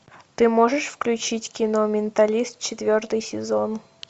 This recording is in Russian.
ты можешь включить кино менталист четвертый сезон